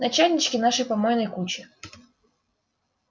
начальнички нашей помойной кучи